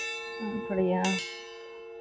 ம்.அப்படியா?